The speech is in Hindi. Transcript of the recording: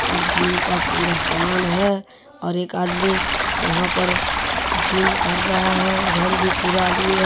और जिम का पूरा समान है और एक आदमी यहाँ पर जिम कर रहा है उधर भी पूरा आदमी है।